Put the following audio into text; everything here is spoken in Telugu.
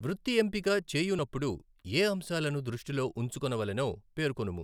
వృత్తి ఎంపిక చేయునప్పుడు ఏ అంశాలను దృష్టిలో ఉంచుకొనవలెనో పేర్కొనుము?